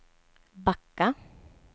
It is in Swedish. backa